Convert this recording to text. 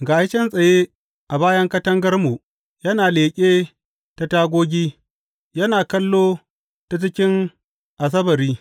Ga shi can tsaye a bayan katangarmu, yana leƙe ta tagogi, yana kallo ta cikin asabari.